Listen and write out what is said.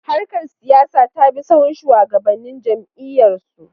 Harkar siyasa ta bi sahun shugabannin jam’iyyarsu.